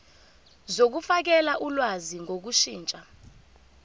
zokufakela ulwazi ngokushintsha